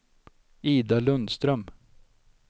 Ida Lundström